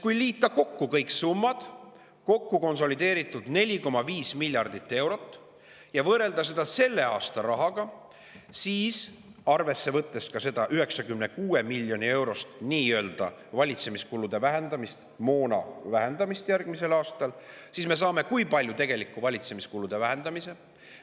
Kui liita kokku kõik summad – see on konsolideeritult 4,5 miljardit eurot – ja võrrelda seda selle aasta rahaga, võttes arvesse ka seda 96 miljoni eurost nii-öelda valitsemiskulude vähendamist, moona vähendamist järgmisel aastal, siis me saame, kui palju tegelikult valitsemiskulusid vähendatakse.